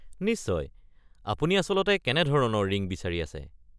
নিশ্চয়, আপুনি আচলতে কেনে ধৰণৰ ৰিং বিচাৰি আছে?